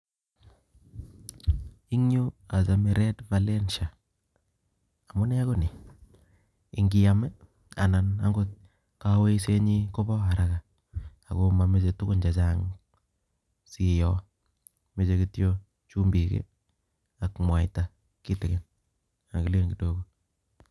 Eng yuu achomei red valensha amuu nee konii ikiiam anan angot koyosei nyii Kobo haraka amameche tukun che Chang sii iiyoo meche kityo chumbik ak mwaita kitikin